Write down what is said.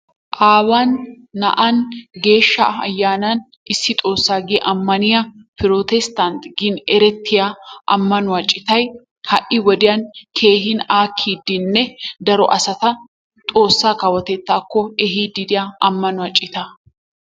Aawan naa'an geeshsha ayyaanan issi xoossa gi ammaniyaa pretesttant gin erettiyaa amannuwaa ciittay ha"i wodiyaan keehin aakkidinne daro asata xoossaa kawottettaako eehidi diyaa ammanuwaa ciittaa.